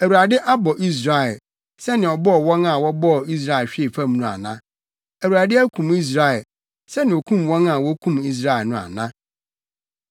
Awurade abɔ Israel sɛnea ɔbɔɔ wɔn a wɔbɔɔ Israel hwee fam no ana? Awurade akum Israel sɛnea okum wɔn a wokum Israel no ana?